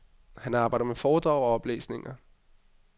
Han arbejder med foredrag og oplæsninger.